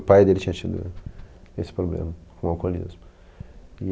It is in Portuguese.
O pai dele tinha tido esse problema com o alcoolismo.